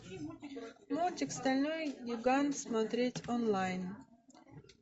мультик стальной гигант смотреть онлайн